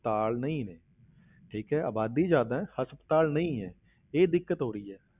ਹਸਪਤਾਲ ਨਹੀਂ ਨੇ ਠੀਕ ਹੈ ਆਬਾਦੀ ਜ਼ਿਆਦਾ ਹੈ ਹਸਪਤਾਲ ਨਹੀਂ ਹੈ, ਇਹ ਦਿੱਕਤ ਹੋ ਰਹੀ ਹੈ